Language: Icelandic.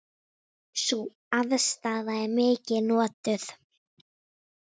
Sú aðstaða er mikið notuð.